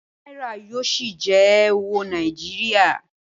Náírà yóò ṣì jẹ́ owó Nàìjíríà